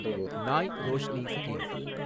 நாய் ரோஷ்னி ஸ்கீம்